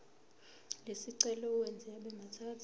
lesicelo uwenze abemathathu